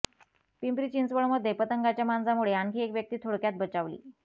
पिंपरी चिंचवडमध्ये पतंगाच्या मांजामुळे आणखी एक व्यक्ती थोडक्यात बचावली